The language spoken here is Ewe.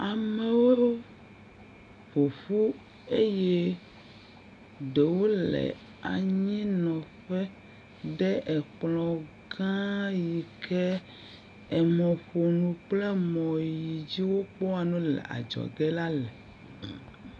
Amewo ƒoƒu eye ɖewo le anyinɔƒe ɖe ekplɔ gã yi ke emɔƒonu kple emɔ yi ked zi wokpɔna nu le adzɔge le.